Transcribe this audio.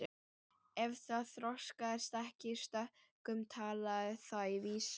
Ef það þroskaðist ekki í stökkum talaði það í vísum.